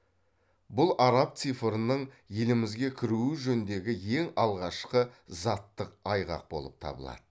бұл араб цифрының елімізге кіруі жөніндегі ең алғашқы заттық айғақ болып табылады